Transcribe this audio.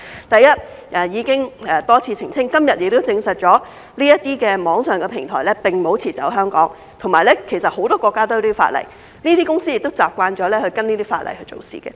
第一，已經多次澄清，今天亦證實這些網上平台並沒有撤離香港，而且很多國家其實都有這些法例，這些公司亦習慣了按照這些法例做事。